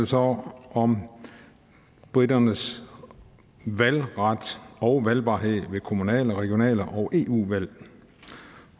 så om briternes valgret og valgbarhed ved kommunale regionale og eu valg